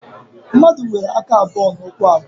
Mmadụ nwere aka abụọ na ụkwụ abụọ